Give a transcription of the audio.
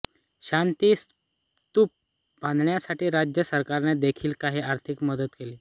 शांती स्तूप बांधण्यासाठी राज्य सरकारने देखिल काही आर्थिक मदत केली